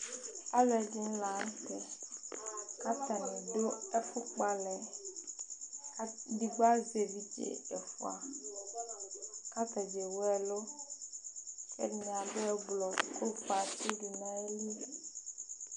Alʋɛdìní la ntɛ kʋ atani du ɛfu kpɔ alɛ yɛ Ɛdigbo azɛ evidze ɛfʋa kʋ atadza ɛwu ɛlu Ɛdiní adu ɛblɔ kʋ ɔfʋe atsi du nʋ ayìlí